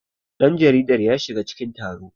danjaridar ya shiga cikin taro